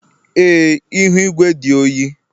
Ee, ihu igwe dị oyi